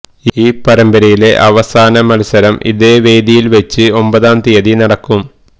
ഈ പരമ്പരയിലെ അവസാന മത്സരം ഇതേ വേദിയില് വെച്ച് ഒമ്പതാം തീയതി നടക്കും